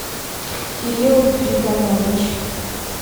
кирилл гвидонович